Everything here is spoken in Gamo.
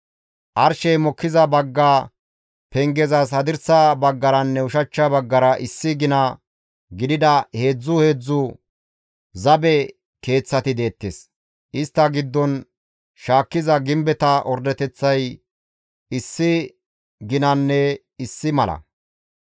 Arshey mokkiza bagga pengezas hadirsa baggaranne ushachcha baggara issi gina gidida heedzdzu heedzdzu zabe keeththati deettes; istta giddon shaakkiza gimbeta ordeteththay issi ginanne issi mala.